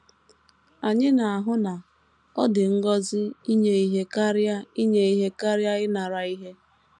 Anyị na - ahụ na “ ọ dị ngọzi inye ihe karịa inye ihe karịa ịnara ihe. ”